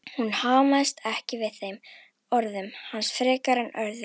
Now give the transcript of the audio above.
Hún amaðist ekki við þeim orðum hans frekar en öðrum.